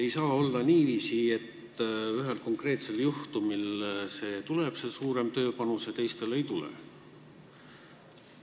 Ei saa olla niiviisi, et ühel konkreetsel juhul see tuleb, see suurem tööpanus, ja teistel juhtudel ei tule.